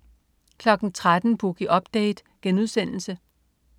13.00 Boogie Update*